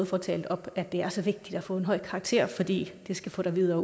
får talt op at det er så vigtigt at få en høj karakter fordi det skal få dig videre